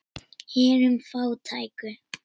Hinum fátæku.